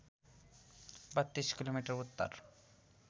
३२ kilometre Uttar